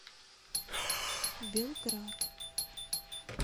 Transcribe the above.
белград